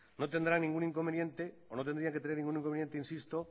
no tendrían que tener ningún inconveniente insisto